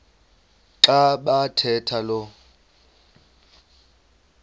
xa bathetha lo